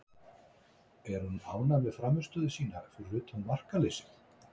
Er hún ánægð með frammistöðu sína fyrir utan markaleysið?